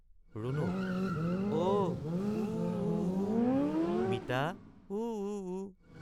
ৰুণুক—অ—উ উ ঊ—মিতা উ—উ।